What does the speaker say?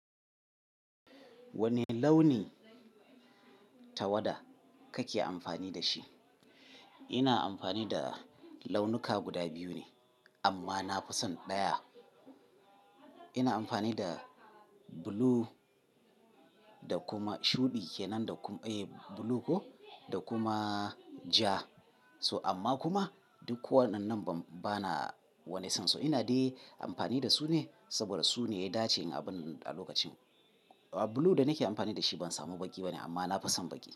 Wane launi tawada kake amfani da shi? Ina amfani da launuka guda biyu ne amma na fi son ɗaya. Ina amfani da blue da kuma shuɗi kenan da kuma, eh blue ko da kuma ja. So amma kuma duk wannan bana wani son. So ina dai amfani da su ne saboda su ne ya dace in abun a lokacin. Blue da nake amfani da shi ban samu baƙi bane amma na fi son baƙi.